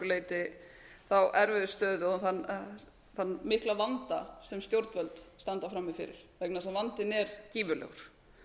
leyti þá erfiðu stöðu og þann mikla vanda sem stjórnvöld standa frammi fyrir vegna þess að vandinn er gífurlegur